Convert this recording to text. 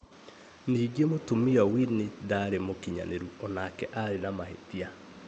Ningi͂, Mu͂tumia Winnie ndaari͂ mu͂kinyani͂ru o nake aari͂ na mahi͂tia.